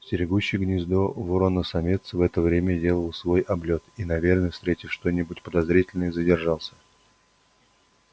стерегущий гнездо ворона-самец в это время делал свой облёт и наверное встретив что-нибудь подозрительное задержался